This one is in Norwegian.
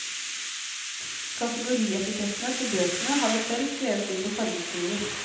Kategorietikettene til bøkene har vi selv skrevet ut på fargeskriver.